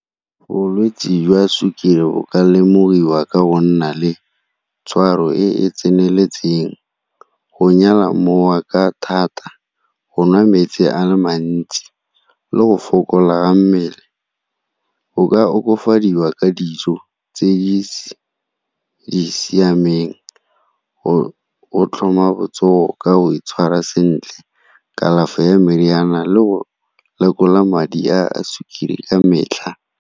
Bolwetse jwa sukiri bo ka lemogiwa ka go nna le tshwaro e e tseneletseng, go nyala mowa ka thata, go nwa metsi a le mantsi le go fokola ga mmele. Go ka okafadiwa ka dijo tse di siameng o tlhoma botsogo ka go itshwara sentle, kalafi ya meriana le go lekola madi a sukiri ka metlha.